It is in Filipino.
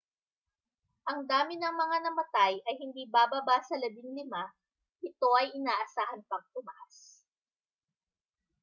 ang dami ng mga namatay ay hindi bababa sa 15 ito ay inaasahan pang tumaas